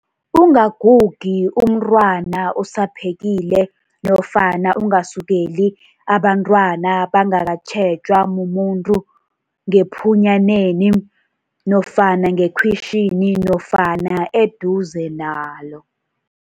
Ungagugi umntwana usaphekile nofana ungasukeli abentwana bangakatjhejwa mumuntu ngephunyaneni nofana ngekhwitjhini nofana eduze nalo.